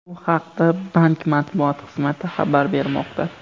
Bu haqda bank matbuot xizmati xabar bermoqda .